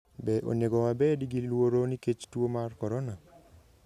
Be onego wabed gi luoro nikech tuo mar corona?